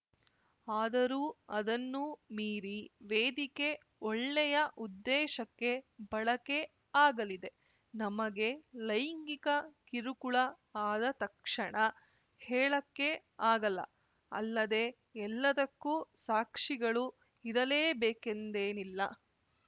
ಆದರೂ ಅದನ್ನು ಮೀರಿ ವೇದಿಕೆ ಒಳ್ಳೆಯ ಉದ್ದೇಶಕ್ಕೆ ಬಳಕೆ ಆಗಲಿದೆ ನಮಗೆ ಲೈಂಗಿಕ ಕಿರುಕುಳ ಆದ ತಕ್ಷಣ ಹೇಳಕ್ಕೆ ಆಗಲ್ಲ ಅಲ್ಲದೆ ಎಲ್ಲದಕ್ಕೂ ಸಾಕ್ಷಿಗಳು ಇರಲೇಬೇಕೆಂದೆನಿಲ್ಲ